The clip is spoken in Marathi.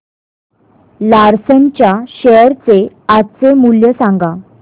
लार्सन च्या शेअर चे आजचे मूल्य सांगा